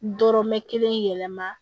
Dɔrɔmɛ kelen yɛlɛma